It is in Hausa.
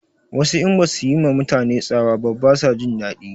Wasu in basu yi ma mutane tsawa ba ba su jin daɗi